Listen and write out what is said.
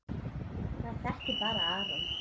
Maður þekkir bara Aron.